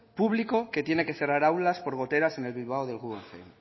público que tiene que cerrar aulas por goteras en el bilbao del guggenheim